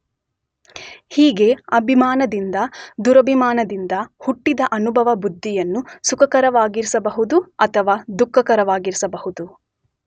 ಹೀಗೆ ಅಭಿಮಾನದಿಂದ ದುರಭಿಮಾನದಿಂದ ಹುಟ್ಟಿದ ಅನುಭವ ಬುದ್ಧಿಯನ್ನು ಸುಖಕರವಾಗಿರಿಸಬಹುದು ಅಥವಾ ದುಃಖಕರವಾಗಿರಿಸಬಹುದು.